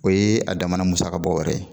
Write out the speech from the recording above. O ye a damana musaka bɔ wɛrɛ ye